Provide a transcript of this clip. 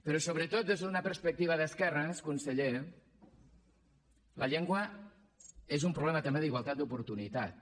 però sobretot des d’una perspectiva d’esquerres conseller la llengua és un problema també d’igualtat d’oportunitats